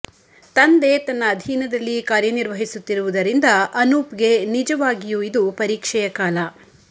ತಂದೆ ತನ್ನ ಅಧೀನದಲ್ಲಿ ಕಾರ್ಯ ನಿರ್ವಹಿಸುತ್ತಿರುವುದರಿಂದ ಅನೂಪ್ಗೆ ನಿಜವಾಗಿಯೂ ಇದು ಪರೀಕ್ಷೆಯ ಕಾಲ